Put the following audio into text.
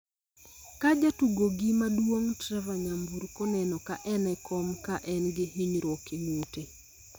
ka jatugogi maduong' Trevor nyamburko neno ka en e kom ka en gi hinyruok e ng'ute.